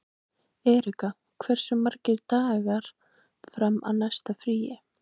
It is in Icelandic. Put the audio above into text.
Erika, hversu margir dagar fram að næsta fríi?